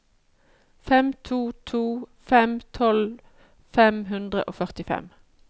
fem to to fem tolv fem hundre og førtifem